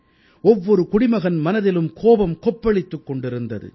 ஒவ்வொரு குடிமகன் மனதிலும் கோபம் கொப்பளித்துக் கொண்டிருந்தது